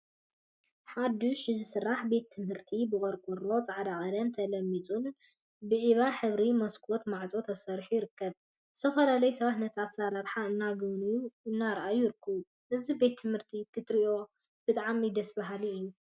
ሐዱሽ ዝስራሕ ቤት ትምህርቲ ብቆርቆሮን ፃዕዳ ቀለም ተለሚፁን ብዒባ ሕብሪ መስኮተ ማዕፆን ተሰሪሑ ይርከብ። ዝተፈላለዩ ሰባት ነቲ አሰራርሓ እናጎብነዩን እናረአዩን ይርከቡ። እዚ ቤት ትምህርቲ ክትሪኦ ብጣዕሚ ደስ በሃሊ እዩ።